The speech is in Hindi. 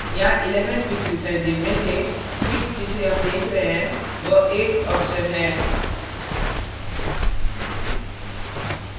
यहाँ 11 fixes हैं जिनमें से fix जिसे हम देख रहे हैं वह 8th option है